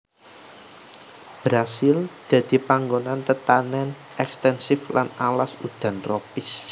Brasil dadi panggonan tetanèn ekstensif lan alas udan tropis